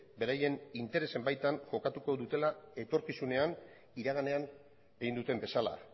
beraien interesen baitan jokatuko dutela etorkizunean iraganean egin duten bezala